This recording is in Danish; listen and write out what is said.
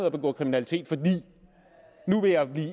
at begå kriminalitet for nu vil jeg